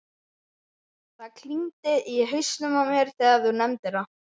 Það klingdi í hausnum á mér þegar þú nefndir það.